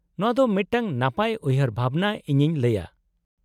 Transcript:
-ᱱᱚᱶᱟ ᱫᱚ ᱢᱤᱫᱴᱟᱝ ᱱᱟᱯᱟᱭ ᱩᱭᱦᱟᱹᱨ ᱵᱷᱟᱵᱱᱟ, ᱤᱧᱤᱧ ᱞᱟᱹᱭᱟ ᱾